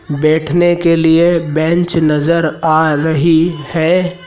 बैठने के लिए बेंच नज़र आ रही है।